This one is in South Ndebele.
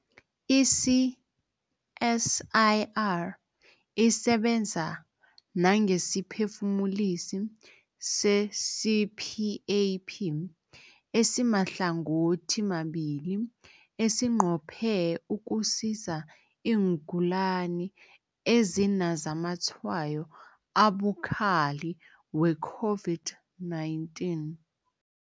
I-CSIR isebenza nangesiphefumulisi se-CPAP esimahlangothimabili esinqophe ukusiza iingulani ezinazamatshwayo abukhali we-COVID-19.